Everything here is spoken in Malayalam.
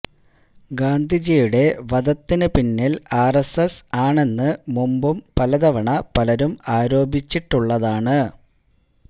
ഗാന്ധിജിയുടെ വധത്തിന് പിന്നില് ആര്എസ്എസ് ആണെന്ന് മുമ്പും പലതവണ പലരും ആരോപിച്ചിട്ടുള്ളതാണ്